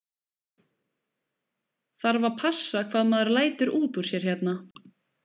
Þarf að passa hvað maður lætur út úr sér hérna?